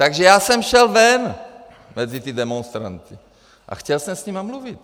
Takže já jsem šel ven mezi ty demonstranty a chtěl jsem s nima mluvit.